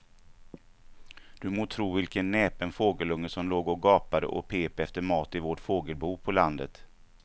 Du må tro vilken näpen fågelunge som låg och gapade och pep efter mat i vårt fågelbo på landet.